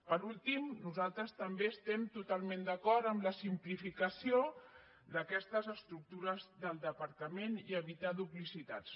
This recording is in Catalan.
per últim nosaltres també estem totalment d’acord amb la simplificació d’aquestes estructures del departament i evitar duplicitats